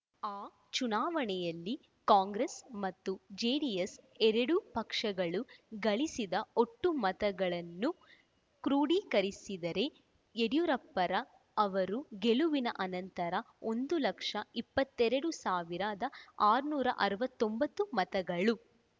ಆ ಚುನಾವಣೆಯಲ್ಲಿ ಕಾಂಗ್ರೆಸ್‌ ಮತ್ತು ಜೆಡಿಎಸ್‌ ಎರಡೂ ಪಕ್ಷಗಳು ಗಳಿಸಿದ ಒಟ್ಟು ಮತಗಳನ್ನು ಕ್ರೋಢೀಕರಿಸಿದರೆ ಡಿಯೂರಪ್ಪರ ಅವರ ಗೆಲುವಿನ ಅಂತರ ಒಂದು ಲಕ್ಷದ ಇಪ್ಪತ್ತೆರಡು ಸಾವಿರದ ಆರುನೂರ ಅರವತ್ತೊಂಬತ್ತು ಮತಗಳು